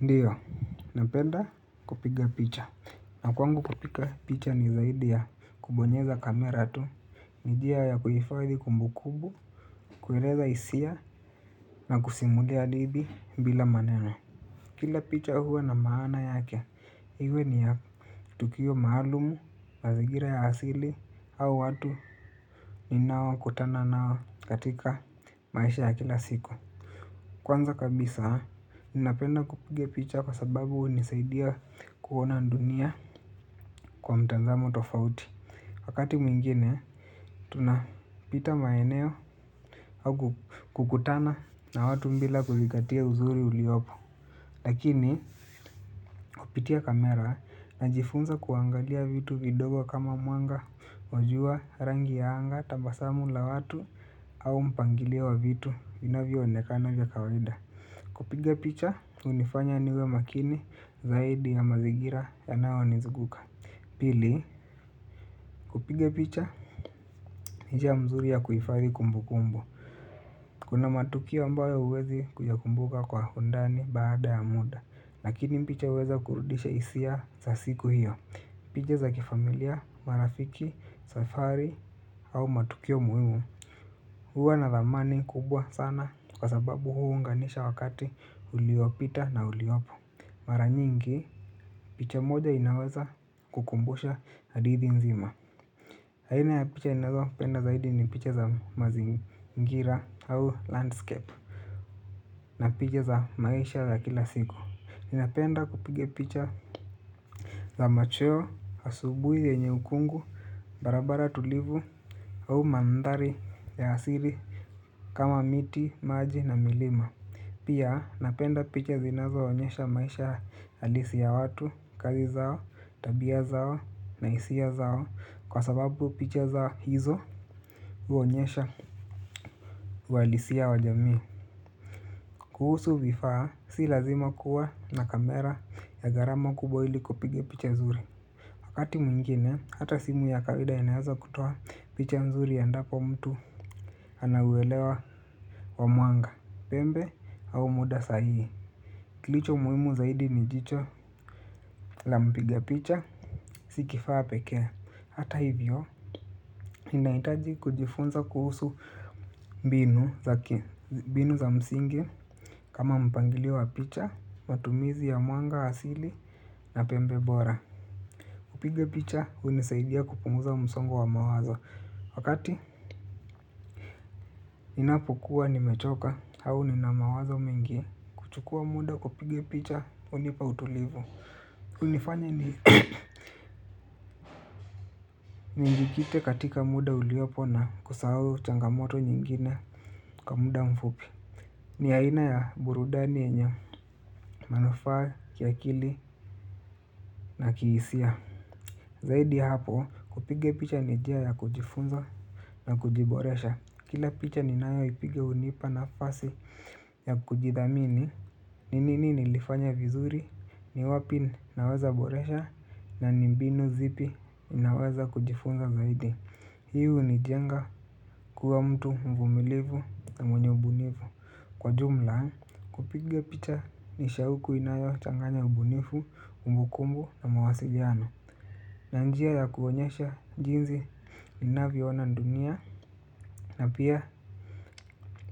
Ndiyo, napenda kupiga picha na kwangu kupiga picha ni zaidi ya kubonyeza kamera tu. Njia ya kuhifadhi kumbukumbu, kueleza hisia na kusimulia hadithi bila maneno. Kila picha huwa na maana yake, iwe ni ya tukio maalumu, mazingira ya asili au watu ninao kutana nao katika maisha ya kila siku. Kwanza kabisa, ninapenda kupiga picha kwa sababu hunisaidia kuona dunia kwa mtazamo tofauti. Wakati mwingine, tunapita maeneo au kukutana na watu bila kuzingatia uzuri uliopo. Lakini, kupitia kamera najifunza kuangalia vitu vidogo kama mwanga, wa jua rangi ya anga, tabasamu la watu au mpangilio wa vitu vinavyoonekana vya kawaida. Kupiga picha, hunifanya niwe makini zaidi ya mazingira yanayonizunguka. Pili, kupiga picha, ni njia mzuri ya kuhifadhi kumbukumbu. Kuna matukio ambayo huwezi kuyakumbuka kwa undani baada ya muda lakini picha huweza kurudisha hisia za siku hiyo. Picha za kifamilia, marafiki, safari au matukio muhimu huwa na thamani kubwa sana kwa sababu huunganisha wakati uliopita na uliopo. Mara nyingi picha moja inaweza kukumbusha hadithi nzima aina ya picha ninazopenda zaidi ni picha za mazingira au landscape na picha za maisha za kila siku. Ninapenda kupiga picha za macheo, asubuhi yenye ukungu, barabara tulivu au mandhari ya asili kama miti, maji na milima. Pia napenda picha zinazoonyesha maisha halisi ya watu, kazi zao, tabia zao, na hisia zao kwa sababu picha zao hizo huonyesha uhalisia wa jamii. Kuhusu vifaa si lazima kuwa na kamera ya gharama kubwa ili kupiga picha zuri. Wakati mwingine, hata simu ya kawaida inaweza kutoa picha nzuri endapo mtu anauelewa wa mwanga, pembe au muda sahihi. Kilicho muhimu zaidi ni jicho la mpiga picha, si kifaa pekee. Hata hivyo, inahitaji kujifunza kuhusu mbinu za msingi kama mpangilio wa picha, matumizi ya muanga, asili na pembe bora. Kupiga picha, hunisaidia kupunguza msongo wa mawazo. Wakati, inapokua nimechoka, au nina mawazo mengi kuchukua muda kupiga picha, hunipa utulivu. Unifanya nijikite katika muda uliopo na kusahau changamoto nyingine kwa muda mfupi. Ni aina ya burudani yenya, manufaa, kiakili na kihisia. Zaidi ya hapo kupiga picha ni njia ya kujifunza na kujiboresha. Kila picha ninayoipiga hunipa nafasi ya kujidhamini. N inini nilifanya vizuri, ni wapi nawezaboresha na ni mbinu zipi ninaweza kujifunza zaidi. Hii hunijenga kuwa mtu mvumilivu na mwenye ubunivu. Kwa jumla kupiga picha ni shauku inayochanganya ubunivu, kumbukumbu na mawasiliano na njia ya kuonyesha jinsi ninavyoona dunia na pia